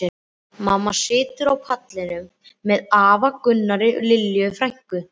Mamma situr á pallinum með afa Gunnari og Lilju frænku.